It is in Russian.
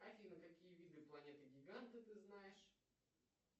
афина какие виды планеты гиганты ты знаешь